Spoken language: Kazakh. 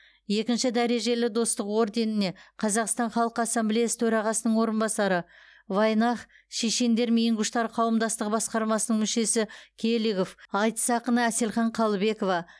екінші дәрежелі достық орденіне қазақстан халқы ассамблеясы төрағасының орынбасары аайнах шешендер ингуштер қауымдастығы басқармасының мүшесі келигов айтыс ақыны әселхан қалыбекова